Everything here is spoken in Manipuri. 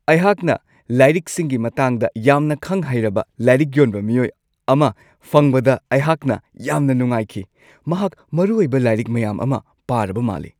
ꯑꯩꯍꯥꯛꯅ ꯂꯥꯏꯔꯤꯛꯁꯤꯡꯒꯤ ꯃꯇꯥꯡꯗ ꯌꯥꯝꯅ ꯈꯪ-ꯍꯩꯔꯕ ꯂꯥꯏꯔꯤꯛ ꯌꯣꯟꯕ ꯃꯤꯑꯣꯏ ꯑꯃ ꯐꯪꯕꯗ ꯑꯩꯍꯥꯛꯅ ꯌꯥꯝꯅ ꯅꯨꯡꯉꯥꯏꯈꯤ ꯫ ꯃꯍꯥꯛ ꯃꯔꯨꯑꯣꯏꯕ ꯂꯥꯏꯔꯤꯛ ꯃꯌꯥꯝ ꯑꯃ ꯄꯥꯔꯕ ꯃꯥꯜꯂꯤ ꯫